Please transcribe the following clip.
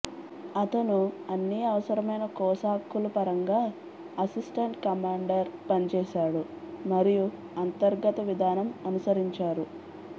అతను అన్ని అవసరమైన కోసాక్కులు పరంగా అసిస్టెంట్ కమాండర్ పనిచేశాడు మరియు అంతర్గత విధానం అనుసరించారు